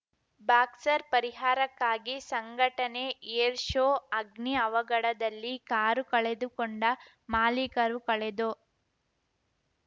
ಬಾಕ್ಸರ್ಪರಿಹಾರಕ್ಕಾಗಿ ಸಂಘಟನೆ ಏರ್‌ಶೋ ಅಗ್ನಿ ಅವಘಡದಲ್ಲಿ ಕಾರು ಕಳೆದುಕೊಂಡ ಮಾಲಿಕರು ಕಳೆದೊ